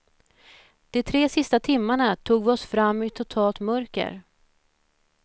De tre sista timmarna tog vi oss fram i totalt mörker.